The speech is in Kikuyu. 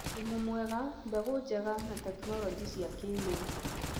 thumu mwega, mbegũ njega, na tekinoronjĩ cia kĩrĩu.